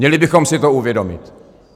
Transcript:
Měli bychom si to uvědomit.